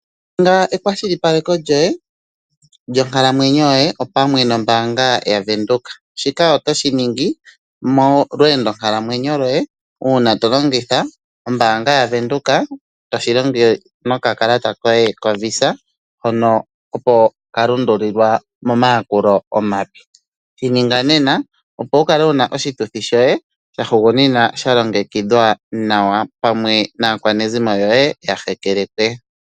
Ninga ekwashilipaleko lyoye lyonkalamwenyo yoye opamwe nombaanga yaVenduka, shika oto shi ningi molweendo nkalamwenyo lwoye, uuna to longitha ombaanga yaVenduka, toshi longo nokakalata koye hono koVisa, hono opo ka lundululilwa momayakulo omape. Shi ninga nena, opo wu kale wu na oshituthi shoye shahugunina sha longekidhwa nawa, pamwe naakwanezimo yoye ya hekelekwe.